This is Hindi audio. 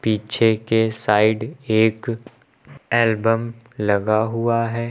पीछे के साइड एक एल्बम लगा हुआ है।